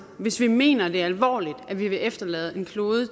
hvis vi mener det alvorligt at vi vil efterlade en klode